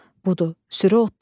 Budur, sürü otlayır.